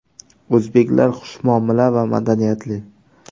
O‘zbeklar xushmuomala va madaniyatli.